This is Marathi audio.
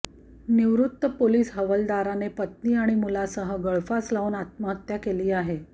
निवृत्त पोलिस हवालदाराने पत्नी आणि मुलासह गळफास लावून आत्महत्या केली आहे